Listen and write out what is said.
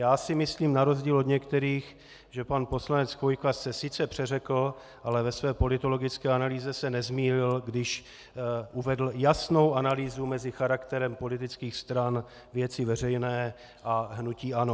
Já si myslím, na rozdíl od některých, že pan poslanec Chvojka se sice přeřekl, ale ve své politologické analýze se nezmýlil, když uvedl jasnou analýzu mezi charakterem politických stran Věci veřejné a hnutí ANO.